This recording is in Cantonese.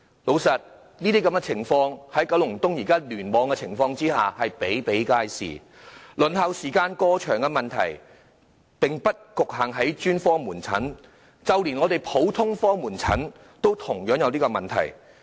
老實說，這些情況在九龍東聯網比比皆是，輪候時間過長的問題，並不局限於專科門診，就連普通科門診也出現同樣問題。